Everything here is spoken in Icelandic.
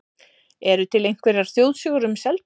Eru til einhverjar þjóðsögur um Seltjörn?